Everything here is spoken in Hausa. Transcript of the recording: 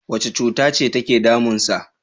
Wace cutace take damunsa?